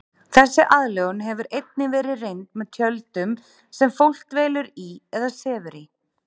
Þessi aðlögun hefur einnig verið reynd með tjöldum sem fólk dvelur í eða sefur í.